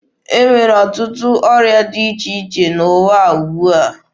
E nwere ọtụtụ ọrịa dị iche iche n'ụwa ugbua.